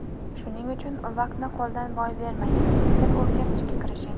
Shuning uchun vaqtni qo‘ldan boy bermang, til o‘rganishga kirishing!